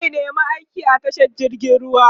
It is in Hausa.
zai nema aiki a tashar jirgin ruwa